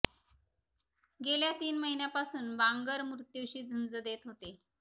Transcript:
गेल्या तीन महिन्यांपासून बांगर मृत्यूशी झुंज देत होते